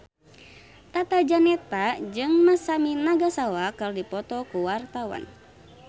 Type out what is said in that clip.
Tata Janeta jeung Masami Nagasawa keur dipoto ku wartawan